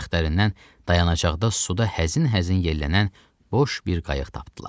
Bəxtlərindən dayanacaqda suda həzin-həzin yellənən boş bir qayıq tapdılar.